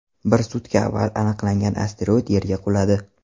Bir sutka avval aniqlangan asteroid Yerga quladi.